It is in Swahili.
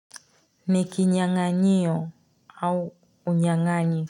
Nikinyanganyiyo au unyanganyi.